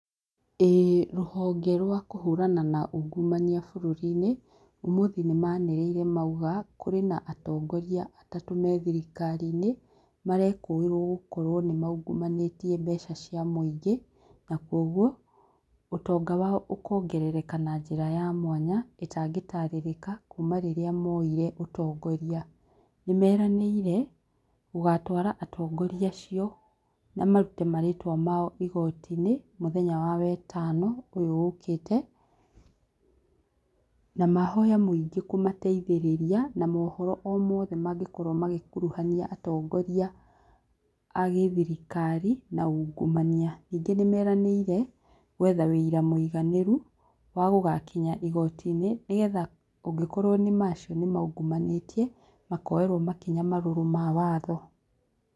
Ĩĩ rũhonge rwa kũhũrana na ungumania bũrũri-inĩ ũmũthĩ nĩ manĩrĩire mauga kũrĩ na atongoria atatũ methirikari-inĩ marekũĩrwo gũkorwo nĩ maungumabĩtie mbeca cia mũingĩ na kwoguo ũtonga wao ũkongerereka na njĩra ya mwanya ĩtangĩtarĩrĩka kuma rĩrĩa moire ũtongoria nĩmeranĩire gũgatwara atongoria acio na marute maritwa mao igooti-inĩ mũthenya wa wetano ũyũ ũkĩte, na mahoya mũingĩ kũmateithĩrĩria na mohoro o mothe mangĩ korwo magĩkuruhania atongoria agĩthirikari na ungumania, ningĩ nĩmeranĩire gwetha wũira mũiganĩru wagũgakinya igooti-inĩ nĩgetha ũngĩ korwo nĩma acio nĩmaungumanĩtie makoerwo makinya marũrũ ma watho.